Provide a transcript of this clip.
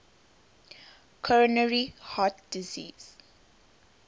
coronary heart disease